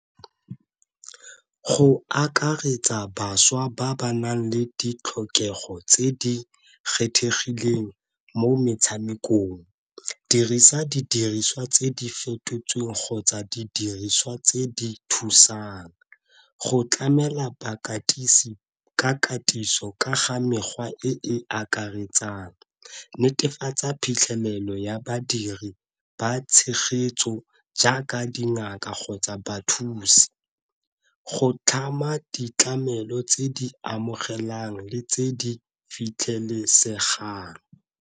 Go akaretsa bašwa ba ba nang le ditlhokego tse di kgethegileng mo metshamekong, dirisa didiriswa tse di fetotsweng kgotsa didiriswa tse di thusang go tlamela bakatisi ka katiso ka ga mekgwa e e akaretsang. Netefatsa phitlhelelo ya badiri ba tshegetso jaaka dingaka kgotsa bathusi, go tlhama ditlamelo tse di amogelang le tse di fitlhelesegang.